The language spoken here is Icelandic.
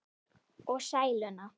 Og sæluna.